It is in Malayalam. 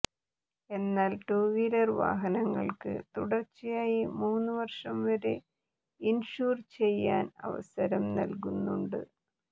എന്നാൽ ടൂ വീലർ വാഹനങ്ങൾക്ക് തുടർച്ചയായി മൂന്നു വർഷം വരെ ഇൻഷുർ ചെയ്യാൻ അവസരം നൽകുന്നുണ്ട്